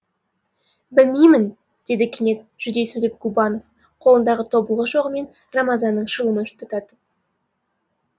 білмеймін деді кенет жүдей сөйлеп губанов қолындағы тобылғы шоғымен рамазанның шылымын тұтатып